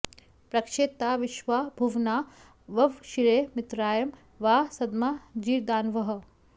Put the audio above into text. पृ॒क्षे ता विश्वा॒ भुव॑ना ववक्षिरे मि॒त्राय॑ वा॒ सद॒मा जी॒रदा॑नवः